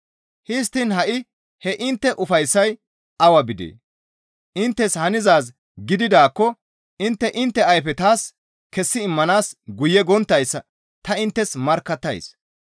Histtiin ha7i he intte ufayssay awa bidee? Inttes hanizaaz gididaakko intte intte ayfe taas kessi immanaas guye gonttayssa ta inttes markkattays.